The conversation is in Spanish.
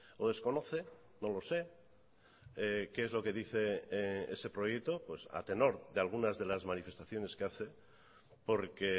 o desconoce no lo sé qué es lo que dice ese proyecto a tenor de algunas de las manifestaciones que hace porque